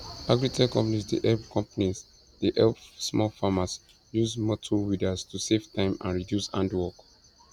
agritech companies dey help companies dey help small farmers use motor weeders to save time and reduce hand work